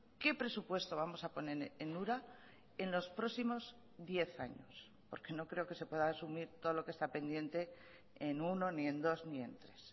qué presupuesto vamos a poner en ura en los próximos diez años porque no creo que se pueda asumir todo lo que está pendiente en uno ni en dos ni en tres